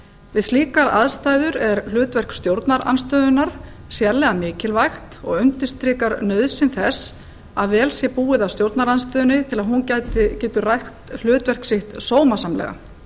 við slíkar aðstæður er hlutverk stjórnarandstöðunnar sérlega mikilvægt og undirstrikar nauðsyn þess að vel sé búið að stjórnarandstöðunni til að hún geti rækt hlutverk sitt sómasamlega